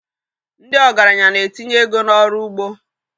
Ndị ọgaranya na-etinye ego n'ọrụ ugbo.